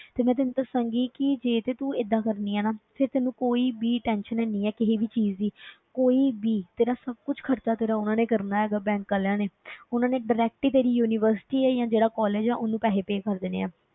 ਤੇ ਮੈਂ ਤੈਨੂੰ ਦੱਸਾਂਗੀ ਕਿ ਜੇ ਤੇ ਤੂੰ ਏਦਾਂ ਕਰਦੀ ਹੈਂ ਨਾ ਫਿਰ ਤੈਨੂੰ ਕੋਈ ਵੀ tension ਹੈਨੀ ਹੈ ਕਿਸੇ ਵੀ ਚੀਜ਼ ਦੀ ਕੋਈ ਵੀ ਤੇਰਾ ਸਭ ਕੁਛ ਖ਼ਰਚਾ ਤੇਰਾ, ਉਹਨਾਂ ਨੇ ਕਰਨਾ ਹੈਗਾ bank ਵਾਲਿਆਂ ਨੇ ਉਹਨਾਂ ਨੇ direct ਹੀ ਤੇਰੀ university ਜਾਂ ਜਿਹੜਾ college ਹੈ, ਉਹਨੂੰ ਪੈਸੇ pay ਕਰ ਦੇਣੇ ਹੈ,